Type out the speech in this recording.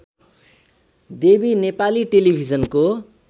देवी नेपाली टेलिभिजनको